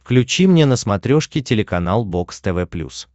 включи мне на смотрешке телеканал бокс тв плюс